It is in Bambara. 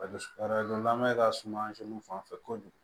A bɛ lamɛn ka suma fan fɛ kojugu